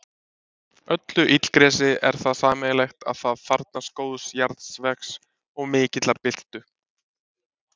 Öllu illgresi er það sameiginlegt að það þarfnast góðs jarðvegs og mikillar birtu.